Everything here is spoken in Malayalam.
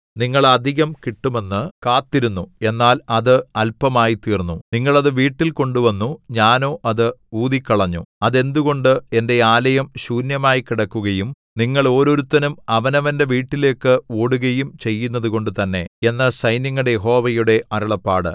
നിങ്ങൾ അധികം കിട്ടുമെന്ന് കാത്തിരുന്നു എന്നാൽ അത് അല്പമായ്തീർന്നു നിങ്ങൾ അത് വീട്ടിൽ കൊണ്ടുവന്നു ഞാനോ അത് ഊതിക്കളഞ്ഞു അതെന്തുകൊണ്ട് എന്റെ ആലയം ശൂന്യമായ്ക്കിടക്കുകയും നിങ്ങൾ ഓരോരുത്തനും അവനവന്റെ വീട്ടിലേക്ക് ഓടുകയും ചെയ്യുന്നതുകൊണ്ട് തന്നെ എന്ന് സൈന്യങ്ങളുടെ യഹോവയുടെ അരുളപ്പാട്